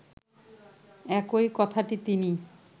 একই কথাটি তিনি